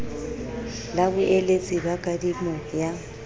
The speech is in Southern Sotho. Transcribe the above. la boeletsi ba kadimo ya